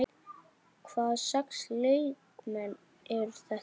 Hvaða sex leikmenn eru þetta?